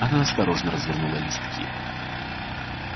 она осторожно развернула листки